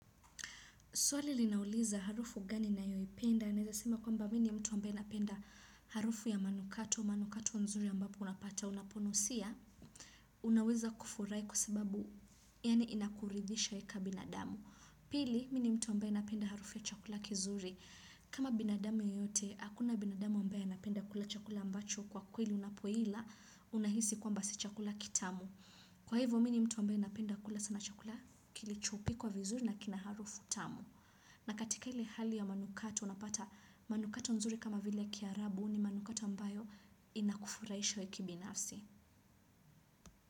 Swali linauliza harufu gani na yoi penda aneza sema kwa mba mini mtu wa mbae napenda harufu ya manukato wa manukato wa nzuri ambapo unapata unaponusia. Unaweza kufurai kwasababu yani inakuridhisha eka binadamu. Pili mimi ni mtu napenda harufu ya chakula kizuri. Kama binadamu yoyote, hakuna binadamu wa mbae anapenda kula chakula ambacho kwa kweli unapoila unahisi kwa mbasichakula kitamu. Kwa hivyo mini mtu wa mbae napenda kula sana chakula kilichopi kwa vizuri nakina harufu tamu. Na katika hili hali ya manukatu, unapata manukato nzuri kama vile kia rabu ni manukato ambayo inakufuraisha wewe kibina afsi.